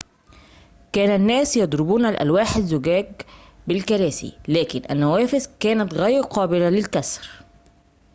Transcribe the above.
كان الناس يضربون ألواح الزجاج بالكراسي لكن النوافذ كانت غير قابلة للكسر